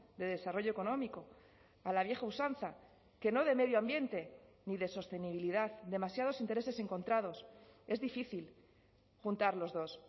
de desarrollo económico a la vieja usanza que no de medio ambiente ni de sostenibilidad demasiados intereses encontrados es difícil juntar los dos